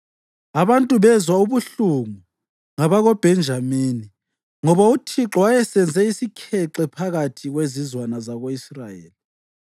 Abantu bezwa ubuhlungu ngabakoBhenjamini, ngoba uThixo wayesenze isikhexe phakathi kwezizwana zako-Israyeli.